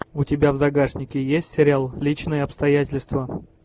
у тебя в загашнике есть сериал личные обстоятельства